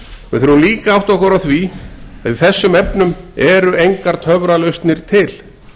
við þurfum líka að átta okkur á því að í þessum efnum eru engar töfralausnir til